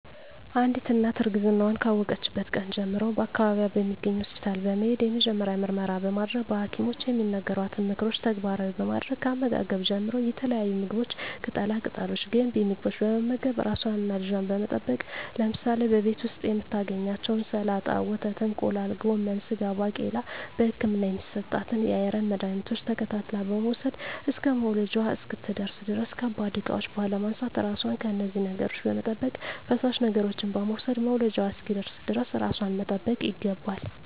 አንዲት እናት እርግዝናዋን ካወቀችበት ቀን ጀምሮ በአካባቢዋ በሚገኝ ሆስፒታል በመሄድ የመጀመሪያ ምርመራ በማድረግ በሀኪሞች የሚነገሯትን ምክሮች ተግባራዊ በማድረግ ከአመጋገብ ጀምሮ የተለያዩ ምግቦች ቅጠላ ቅጠሎች ገንቢ ምግቦች በመመገብ ራሷንና ልጇን በመጠበቅ ለምሳሌ በቤት ዉስጥ የምታገኛቸዉን ሰላጣ ወተት እንቁላል ጎመን ስጋ ባቄላ በህክምና የሚሰጣትን የአይረን መድሀኒቶች ተከታትላ በመዉሰድ እስከ መዉለጃዋ እስክትደርስ ድረስ ከባድ እቃዎች ባለማንሳት ራሷን ከነዚህ ነገሮች በመጠበቅ ፈሳሽ ነገሮችን በመዉሰድ መዉለጃዋ እስኪደርስ ድረስ ራሷን መጠበቅ ይገባል